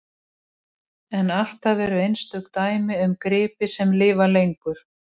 En alltaf eru einstök dæmi um gripi sem lifa lengur.